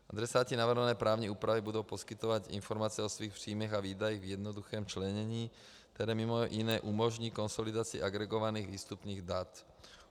Adresáti navrhované právní úpravy budou poskytovat informace o svých příjmech a výdajích v jednoduchém členění, které mimo jiné umožní konsolidaci agregovaných výstupních dat.